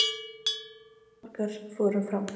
Fréttamaður: Og hversu margar fóru fram?